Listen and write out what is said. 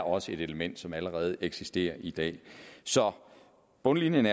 også et element som allerede eksisterer i dag så på bundlinjen